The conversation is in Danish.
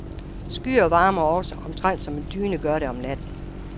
Skyer varmer også, omtrent som en dyne gør det om natten.